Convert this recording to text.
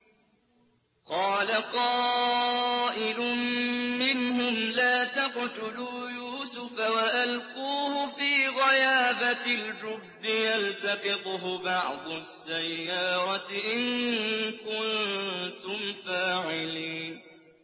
قَالَ قَائِلٌ مِّنْهُمْ لَا تَقْتُلُوا يُوسُفَ وَأَلْقُوهُ فِي غَيَابَتِ الْجُبِّ يَلْتَقِطْهُ بَعْضُ السَّيَّارَةِ إِن كُنتُمْ فَاعِلِينَ